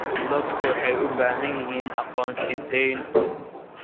Dadku waxay u baahan yihiin aqoonsi deyn.